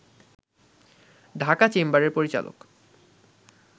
ঢাকা চেম্বারের পরিচালক